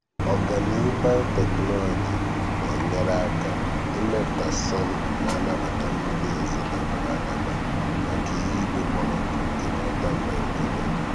ọganihu biotechnology na-enyere aka ịmepụta sorghum na-anabata mmiri ozuzo dabara adaba maka ihu igwe kpọrọ nkụ nke northern nigeria.